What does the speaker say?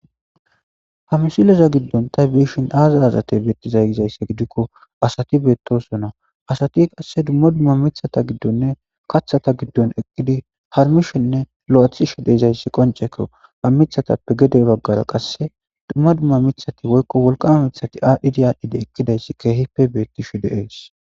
ha msileza giddon tay biishin aaza azate beettizay gizaysse gidikko asati beettosona asati qasse dumma dumma mithata giddonne kathata giddon eqqidi harmishenne lo7athi shide izayssi qonceko ha mithatappe gede baggara qasse dumma dumma mithati woykko wolqama mithati aadhdhidi aadhdhidi ekkidayssi keehipe beettishe de'ees